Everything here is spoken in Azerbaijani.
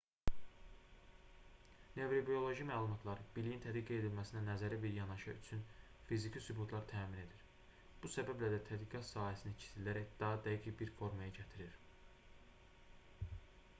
nevrobioloji məlumatlar biliyin tədqiq edilməsinə nəzəri bir yanaşa üçün fiziki sübutlar təmin edir bu səbəblə də tədqiqat sahəsini kiçildərək daha dəqiq bir formaya gətirir